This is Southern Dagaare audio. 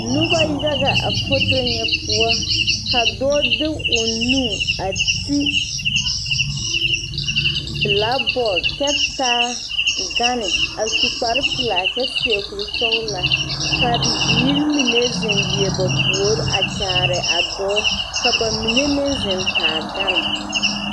Noba yaga a foto ŋa poɔ ka dɔɔ de o nu a ti bilakibɔɔde kyɛ taa gane a su kparepelaa kyɛ seɛ kurisɔglaa ka bibirii mine zeŋ leɛ ba puori a kyaare a dɔɔ ka ba mine meŋ zeŋ taa gane.